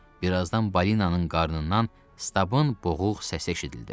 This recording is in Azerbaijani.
Bir azdan balinanın qarnından Stabın boğuq səsi eşidildi.